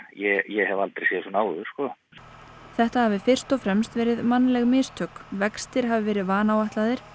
ég hef aldrei séð svona áður þetta hafi fyrst og fremst verið mannleg mistök vextir hafi verið vanáætlaðir